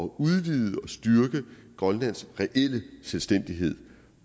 udvide og styrke grønlands reelle selvstændighed